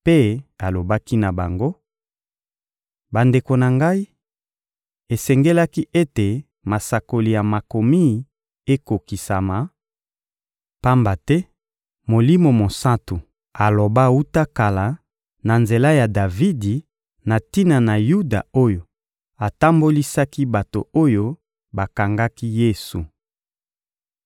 mpe alobaki na bango: «Bandeko na ngai, esengelaki ete masakoli ya Makomi ekokisama; pamba te Molimo Mosantu aloba wuta kala, na nzela ya Davidi, na tina na Yuda oyo atambolisaki bato oyo bakangaki Yesu.